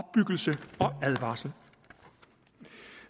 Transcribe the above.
advarsel